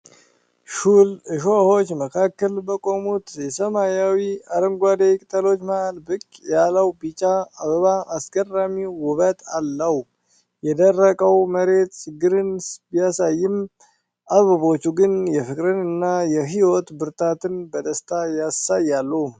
ሹል እሾሆች መካከል በቆሙት የሰማያዊ አረንጓዴ ቅጠሎች መሃል ብቅ ያለው ቢጫ አበባ አስገራሚ ውበት አለው። የደረቀው መሬት ችግርን ቢያሳይም፣ አበቦቹ ግን የፍቅርና የሕይወት ብርታትን በደስታ ያሳያሉ።